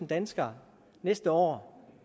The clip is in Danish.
danskere næste år